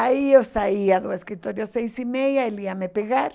Aí eu saía do escritório às seis e meia, ele ia me pegar.